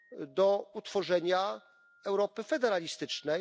do utworzenia Europy federalistycznej.